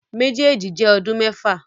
Méjèèjì jẹ́ ọdún mẹ́fà.